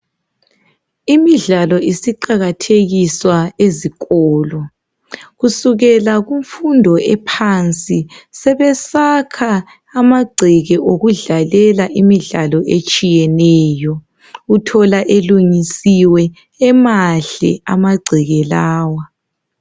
Imidlalo isiqakathekiswa ezikolo. Kusukela kumfundo ephansi, sebesakha amagceke okudlalela imidlalo etshiyeneyo. Uthola elungisiwe emahle amagceke lawa.